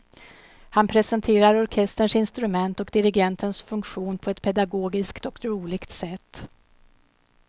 Han presenterar orkesterns instrument och dirigentens funktion på ett pedagogiskt och roligt sätt.